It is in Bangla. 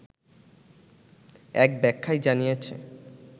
এক ব্যাখ্যায় জানিয়েছে